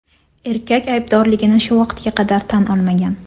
Erkak aybdorligini shu vaqtga qadar tan olmagan.